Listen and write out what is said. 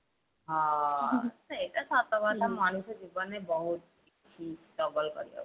ହଁ ସେଇଟା ସତ କଥା ମଣିଷ ଜୀବନ ରେ ବହୁତ struggle କରିବାକୁ